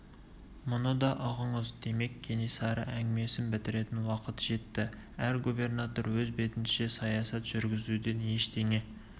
мұны да ұғыңыз демек кенесары әңгімесін бітіретін уақыт жетті әр губернатор өз бетінше саясат жүргізуден ештеңе